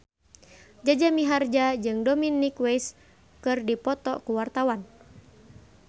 Jaja Mihardja jeung Dominic West keur dipoto ku wartawan